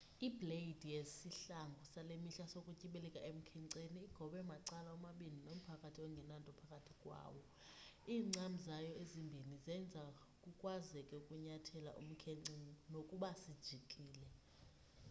ibleyidi yesihlangu sale mihla sokutyibilika emkhenceni igobe macala omabini nomphakathi ongenanto phakathi kwawo iincam zayo ezimbini zenza kukwazeke ukunyathela umkhence nokuba sijikile